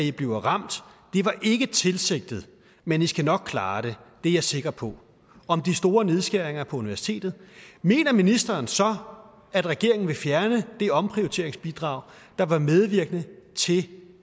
i bliver ramt det var ikke tilsigtet men i skal nok klare det det er jeg sikker på om de store nedskæringer på universitetet mener ministeren så at regeringen vil fjerne det omprioriteringsbidrag der var medvirkende til